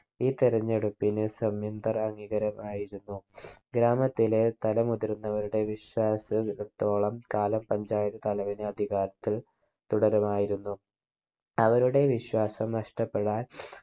ഈ തിരഞ്ഞെടുപ്പിന് സംയുന്തറാങ്ങികരം ആയിരുന്നു ഗ്രാമത്തിലെ തല മുതിർന്നവരുടെ വിശ്വാസ ത്തോളം കാലം panchayat തലവൻ അധികാരത്തിൽ തുടരുമായിരുന്നു. അവരുടെ വിശ്വാസം നഷ്ടപ്പെടാൻ